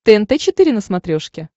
тнт четыре на смотрешке